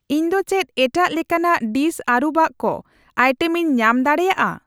ᱤᱧ ᱫᱚ ᱪᱮᱫ ᱮᱴᱟᱜ ᱞᱮᱠᱟᱱᱟᱜ ᱰᱤᱥ ᱟᱹᱨᱩᱵᱟᱜ ᱠᱚ ᱟᱭᱴᱮᱢᱤᱧ ᱧᱟᱢ ᱫᱟᱲᱮᱭᱟᱜᱼᱟ ?